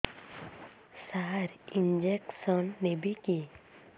ସାର injection ନେବିକି